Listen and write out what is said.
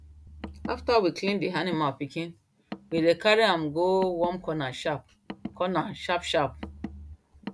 after we clean the animal pikin we dey carry am go warm corner sharp corner sharp sharp